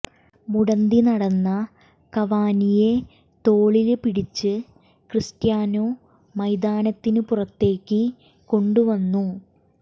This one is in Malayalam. മുടന്തി നടന്ന കവാനിയെ തോളില് പിടിച്ച് ക്രിസ്റ്റ്യാനോ മൈതാനത്തിന് പുറത്തേക്ക് കൊണ്ടുവന്നു